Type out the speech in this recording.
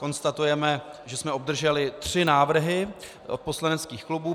Konstatujeme, že jsme obdrželi tři návrhy od poslaneckých klubů.